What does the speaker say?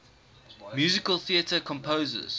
musical theatre composers